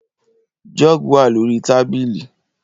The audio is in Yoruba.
Jug wà lórí tábìlì